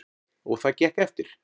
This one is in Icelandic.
Og það gekk eftir.